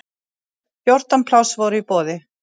Fjórtán pláss voru í boði.